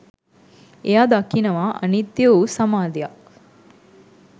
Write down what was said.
එයා දකිනවා අනිත්‍ය වූ සමාධියක්